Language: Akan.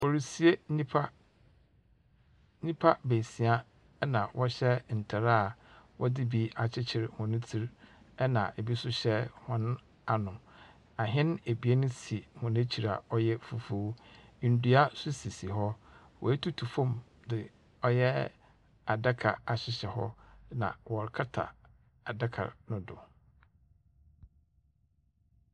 Worisie nyimpa nyimpa beesia na wɔhyɛ ntar a wɔdze bi akyekyer hɔn tsir. Na bi so hyɛ hɔn ano. Ahɛn ebien si hɔn ekyir a ɔyɛ fufuw. Ndua so sisi hɔ. Oetutu famu dze ɔyɛ adaka ahyehyɛ hɔ. Na wɔrekata adaka no do.